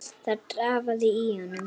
Það drafaði í honum.